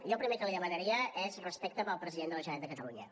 jo el primer que li demanaria és respecte per al president de la generalitat de catalunya